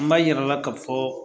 N b'a yirala ka fɔ